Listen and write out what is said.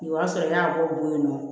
O y'a sɔrɔ n y'a bɔ yen nɔ